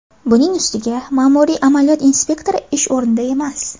Buning ustiga ma’muriy amaliyot inspektori ish o‘rnida emas.